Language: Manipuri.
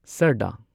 ꯁꯔꯗꯥ